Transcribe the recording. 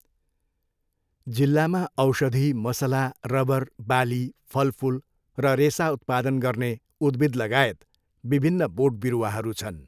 जिल्लामा औषधी, मसला, रबर, बाली, फलफुल र रेसा उत्पादन गर्ने उद्भिदलगायत विभिन्न बोटबिरुवाहरू छन्।